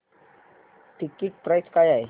ticket price काय आहे